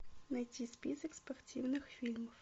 найти список спортивных фильмов